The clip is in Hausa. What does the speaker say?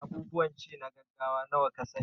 Abubuwan ci na gaggawa nawa ka sa ni?